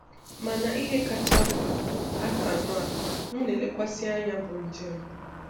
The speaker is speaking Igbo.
Mànà ihe kacha mkpa, àkànụ́ a m na-elekwàsị anya bụ njem.